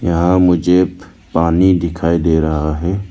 यहां मुझे पानी दिखाई दे रहा है।